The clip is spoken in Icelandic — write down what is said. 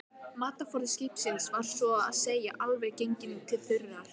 Matarforði skipsins var svo að segja alveg genginn til þurrðar.